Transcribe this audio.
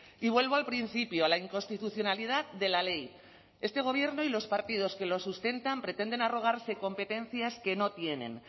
y vuelvo al principio a la inconstitucionalidad de la ley este gobierno y los partidos que lo sustentan pretenden arrogarse competencias que no tienen